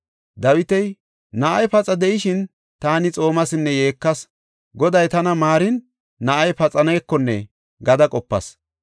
Dawiti, “Na7ay paxa de7ishin taani xoomasinne yeekas; Goday tana maarin, na7ay paxanekonne” gada qopas.